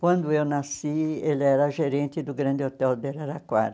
Quando eu nasci, ele era gerente do grande hotel de Araraquara.